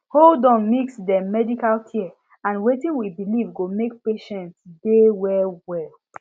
hold on mix dem medical care and wetin we believe go make patients dey well well